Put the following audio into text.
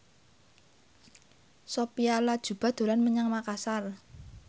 Sophia Latjuba dolan menyang Makasar